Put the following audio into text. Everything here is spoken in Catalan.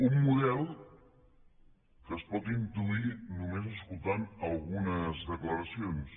un model que es pot intuir només escoltant algunes declaracions